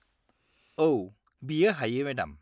औ, बियो हायो, मेडाम।